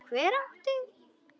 Hver átti?